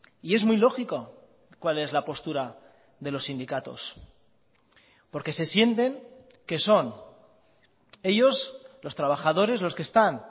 y es muy lógico cuál es la postura de los sindicatos porque se sienten que son ellos los trabajadores los que están